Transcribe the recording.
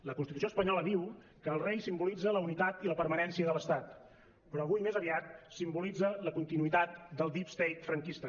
la constitució espanyola diu que el rei simbolitza la unitat i la permanència de l’estat però avui més aviat simbolitza la continuïtat del deep state franquista